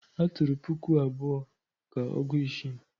A tụrụ puku abụọ ka ọgị-isi.